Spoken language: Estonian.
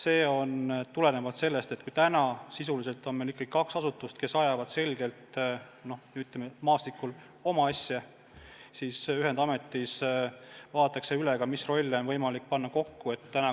Efekt tuleneb sellest, et kui täna meil on ikkagi kaks asutust, kes ajavad, ütleme, maastikul oma asja, siis ühendametis vaadatakse üle, mis rolle on võimalik kokku panna.